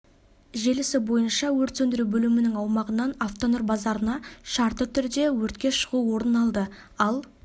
желісі бойынша өрт сөндіру бөлімінің аумағынан автонұр базарына шартты түрде өртке шығу орын алды ал